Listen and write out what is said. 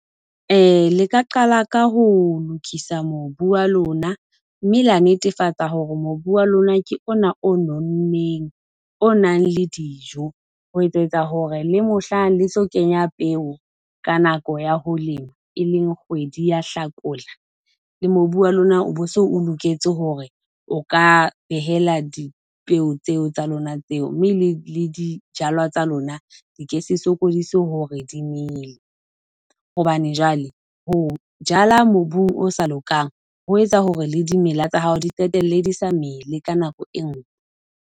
le ka qala ka ho lokisa mobu wa lona, mme la netefatsa hore mobu wa lona ke ona o nonneng, o nang le dijo. Ho etsetsa hore le mohlang le tlo kenya peo ka nako ya ho lema, e leng kgwedi ya hlakola, le mobu wa lona o bo so o loketse hore o ka behela dipeu tseo tsa lona tseo, mme le le dijalwa tsa lona di ke se sokodise hore di mele. Hobane jwale ho jala mobung o sa lokang, ho etsa hore le dimela tsa hao di qetelle di sa mele ka nako e nngwe.